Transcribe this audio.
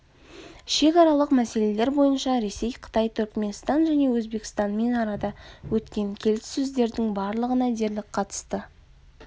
шекаралық мәселелер бойынша ресей қытай түрікменстан және өзбекстанмен арада өткен келіссөздердің барлығына дерлік қатысты